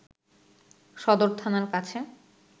সদর থানার কাছে